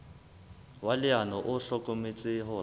wa leano o hlokometse hore